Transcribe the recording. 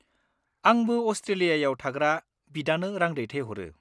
आंबो अस्ट्रेलियाआव थाग्रा बिदानो रां दैथायहरो।